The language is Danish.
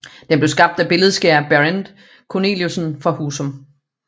Den blev skabt af billedskærer Berend Cornelissen fra Husum